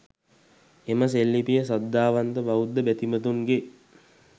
එම සෙල්ලිපිය සද්ධාවන්ත බෞද්ධ බැතිමතුන්ගේ